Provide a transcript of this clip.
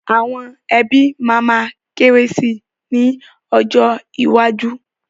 Àwọn ẹbí máa ma kéré sì ni ọjọ́ iwájú.